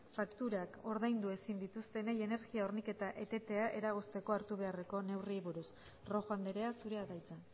fakturak ordaindu ezin dituztenei energia horniketa etetea eragozteko hartu beharreko neurriei buruz rojo andrea zurea da hitza